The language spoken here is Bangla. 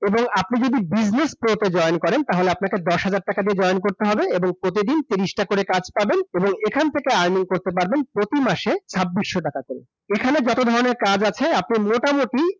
এবং আপনি যদি business pro তে join করেন, তাহলে আপনাকে দশ হাজার টাকা দিয়ে join করতে হবে এবং প্রতিদিন তিরিশটা করে কাজ পাবেন এবং এখান থেকে earning করতে পারবেন প্রতি মাসে ছাব্বিশশো টাকা করে । এখানে যত ধরণের কাজ আছে, আপনি মোটামুটি